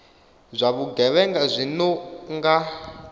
zwa vhugevhenga zwi no nga